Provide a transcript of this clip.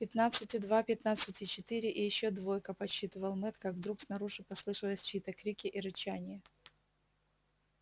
пятнадцать и два пятнадцать и четыре и ещё двойка подсчитывал мэтт как вдруг снаружи послышались чьи-то крики и рычание